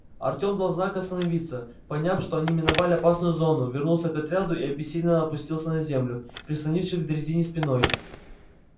артем дал знак остановиться поняв что они миновали опасную зону вернулся к отряду и обессиленно опустился на землю прислонившись к дрезине спиной